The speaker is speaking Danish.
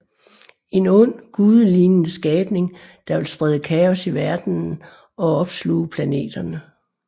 En ond gudelignende skabning der vil sprede kaos i verdenen og opsluge planeterne